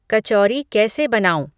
कचौरी कैसे बनाऊँ